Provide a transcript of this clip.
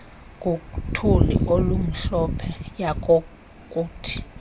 ngothuli olumhlophe yayokuthi